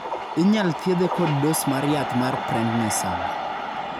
inyal thiedhe kod dos mar yath mar prendnisone